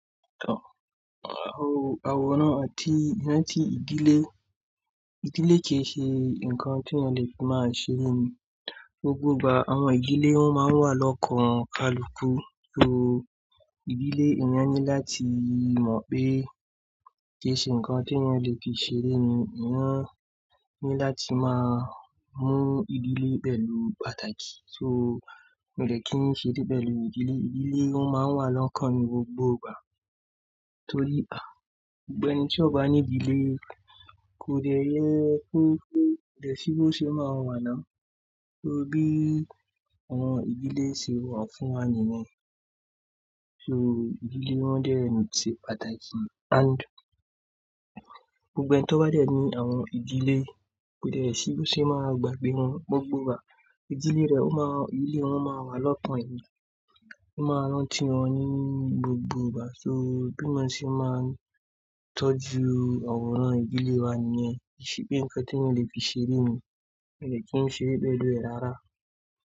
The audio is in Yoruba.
Àwòrán àti iná tí ìdílé, ìdílé kì í ṣe ǹkan tí ọ̀ le máa ṣe lẹ́nu gbogbo ìgbà. Àwọn ìdílé won máa ń wà lọ́kàn kalùkùù. So ìdílé èèyàn ní láti mọ̀ pé kì í ṣe ǹkan tí ẹeyan le fi ṣe rẹ́ ni. Sugbon ọ̀ ní láti máa mú ìdílé pẹ̀lú pàtàkì. So, mò de kí ń ṣe é pẹ̀lú ìdílé. Ìdílé won máa ń wà lọ́kàn ni gbogbo ìgbà torí gbogbo ẹni tí ó bá ní ìdílé kò le jẹ́ pé ko dẹ́sì bí ó ṣe máa wà náà. Torí bí àwọn ìdílé ṣe wà fún wá ni yẹn. So ìdílé wọ́n dẹ ṣe pàtàkì and gbogbo ẹni tó bá dẹ ní àwọn ìdílé kò dẹ sí bí ó ṣe máa gbàgbé wọn gbogbo ìgbà. Ìdílé rẹ, ilé wọn máa wà lọ́kan ẹ̀ ni, ó máa rán ti won ní gbogbo ìgbà. So bí wọn ṣe máa ń tọ́jú àwòrán ìdílé wa ni yẹn. Kì í ṣe pé ǹkan tí ẹeyan ọ̀ le fi ṣe lẹ́nu, miò de kí ń ṣeré pẹ̀lú ẹ̀ rárá.